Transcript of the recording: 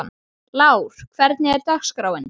Lár, hvernig er dagskráin?